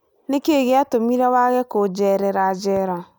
Nĩ kĩĩ gĩatũmire ũage kũũjeerera njera?